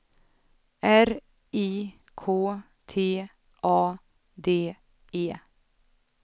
R I K T A D E